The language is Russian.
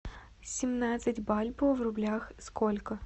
семнадцать бальбоа в рублях сколько